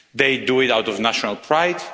They do it out of national pride.